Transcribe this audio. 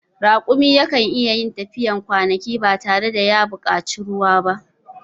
Raƙumi yakan iyayin tafiyar kwanaki ba tare da ya buƙaci ruwa ba